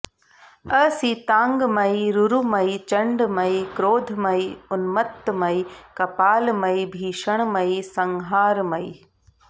असिताङ्गमयि रुरुमयि चण्डमयि क्रोधमयि उन्मत्तमयि कपालमयि भीषणमयि संहारमयि